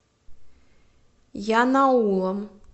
янаулом